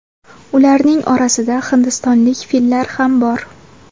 Ularning orasida hindistonlik fillar ham bor.